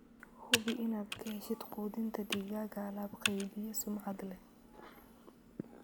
Hubi inaad ka heshid quudinta digaaga alaab-qeybiye sumcad leh.